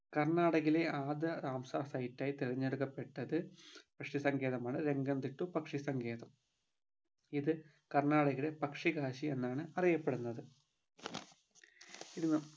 കർണാടകയിലെ ആദ്യ Ramsar site ആയി തിരഞ്ഞെടുക്കപ്പെട്ടത് പക്ഷിസങ്കേതമാണ് രംഗംതിട്ടു പക്ഷി സങ്കേതം ഇത് കർണാടകയിലെ പക്ഷികാശി എന്നാണ് അറിയപ്പെടുന്നത് ഇത്